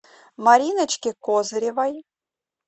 мариночке козыревой